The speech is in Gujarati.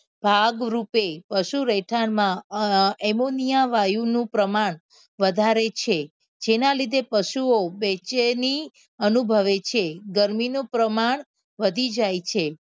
ભાગરૂપે પશું રહેઠાણના એમોનિયા વાયુનું પ્રમાણ વધારે છે જેના લીધે પશુઓ બેચેની અનુભવે છે ગરમીનું પ્રમાણ વધી જાય છે.